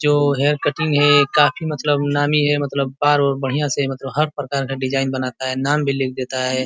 जो hair cutting है काफी मलतब नामी है। मतलब बाल ओर बढ़िया से मतलब हर प्रकार का डिज़ाइन बनाता है। नाम भी लिख देता है ।